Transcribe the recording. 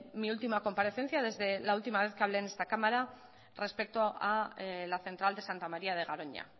mi última comparecencia desde la última vez que hablé en esta cámara respecto a la central de santa maría de garoña